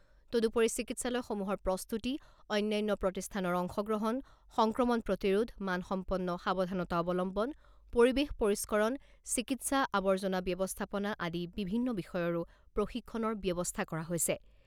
তদুপৰি চিকিৎসালয়সমূহৰ প্ৰস্তুতি, অন্যান্য প্ৰতিষ্ঠানৰ অংশগ্ৰহণ, সংক্ৰমণ প্ৰতিৰোধ, মানসম্পন্ন সাৱধানতা অৱলম্বন, পৰিবেশ পৰিস্কৰণ, চিকিৎসা আৱৰ্জনা ব্যৱস্থাপনা আদি বিভিন্ন বিষয়ৰো প্ৰশিক্ষণৰ ব্যৱস্থা কৰা হৈছে।